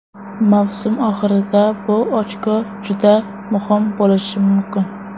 Mavsum oxirida bu ochko juda muhim bo‘lishi mumkin.